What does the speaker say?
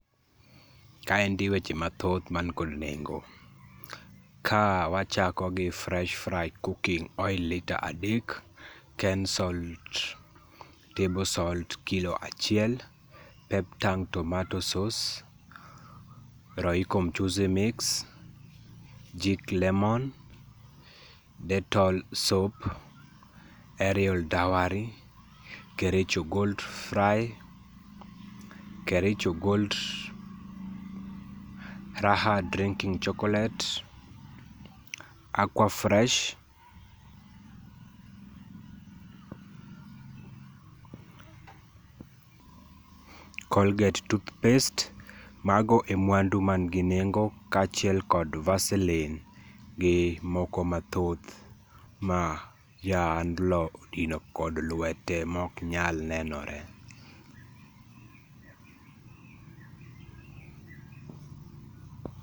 Kaendi weche mathoth man kod nengo ka wachako gi fresh fry cooking oil lita adek, kensalt table salt kilo achiel, peptang tomato sauce, Royco mchuzi mix, jik lemon, dettol soap, Aerial downy, Kericho gold fry, kericho gold, Raha drinking chocolate, Aquafresh, colgate toothpaste. Mago e mwandu manigi nengo kachiel kod Vaseline gi moko mathoth ma ja ohand no odino gi lwete maok nyal nenore.